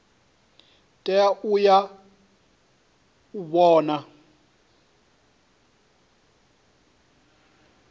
tea u ya u vhona